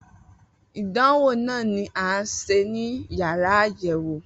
Idanwo naa ni a ṣe ni yàrá ayẹwo.